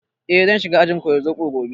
Eh, zan shiga ajin koyar zobo gobe